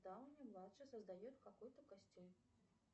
дауни младший создает какой то костюм